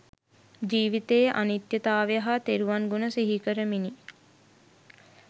ජීවිතයේ අනිත්‍යතාවය හා තෙරුවන් ගුණ සිහිකරමිනි.